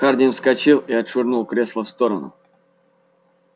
хардин вскочил и отшвырнул кресло в сторону